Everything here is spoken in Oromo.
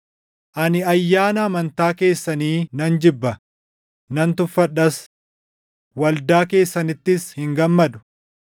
“Ani ayyaana amantaa keessanii nan jibba; nan tuffadhas; waldaa keessanittis hin gammadu.